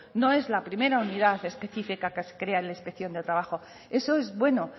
no es la primera unidad específica que se crea en la inspección de trabajo eso es bueno